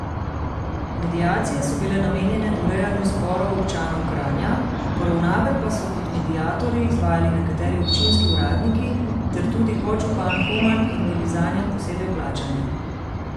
Mediacije so bile namenjene urejanju sporov občanov Kranja, poravnave pa so kot mediatorji izvajali nekateri občinski uradniki ter tudi podžupan Homan in bili zanje posebej plačani.